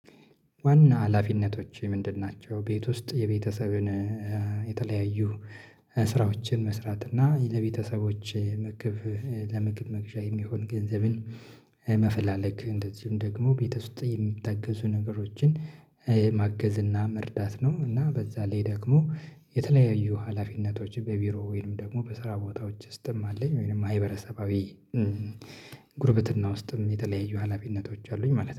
ዋና ሀላፊነቶቼ ምንድን ናቸው ቤት ውስጥ የቤተሰብን የተለያዩ ስራዎችን መስራት እና ለቤተሰቦች ምግብ ለመግብ መግዣ የሚሆን ገንዘብን መፈላለግ እንደዚሁም ደግሞ ቤት ውስጥ የሚታገዙ ነገሮችን ማገዝ እና መርዳት ነው፤ እና በዛ ላይ ደግሞ የተለያዩ ሀላፊነቶች በቢሮ ወይንም ደግሞ በስራ ቦታዎች ውስጥም አለኝ፤ ወይንም ማህበረሰባዊ ጉርብትና ውስጥም የተለያዩ ሀላፊነቶች አሉኝ ማለት ነው።